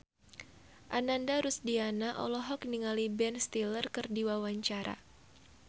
Ananda Rusdiana olohok ningali Ben Stiller keur diwawancara